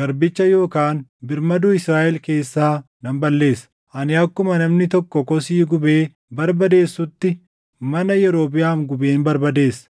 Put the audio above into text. garbicha yookaan birmaduu Israaʼel keessaa nan balleessa. Ani akkuma namni tokko kosii gubee barbadeessutti mana Yerobiʼaam gubeen barbadeessa.